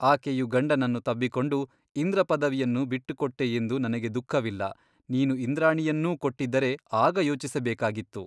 ಆಕೆಯು ಗಂಡನನ್ನು ತಬ್ಬಿಕೊಂಡು ಇಂದ್ರಪದವಿಯನ್ನು ಬಿಟ್ಟುಕೊಟ್ಟೆಯೆಂದು ನನಗೆ ದುಃಖವಿಲ್ಲ ನೀನು ಇಂದ್ರಾಣಿಯನ್ನೂ ಕೊಟ್ಟಿದ್ದರೆ ಆಗ ಯೋಚಿಸಬೇಕಾಗಿತ್ತು.